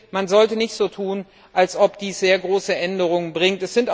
Man sollte nicht so tun, als ob dies sehr große Änderungen bringt.